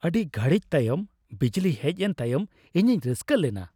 ᱟᱹᱰᱤ ᱜᱷᱟᱹᱲᱤᱡᱽ ᱛᱟᱭᱚᱢ ᱵᱤᱡᱽᱞᱤ ᱦᱮᱡ ᱮᱱ ᱛᱟᱭᱚᱢ ᱤᱧᱤᱧ ᱨᱟᱹᱥᱠᱟᱹ ᱞᱮᱱᱟ ᱾